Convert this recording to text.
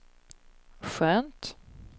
skönt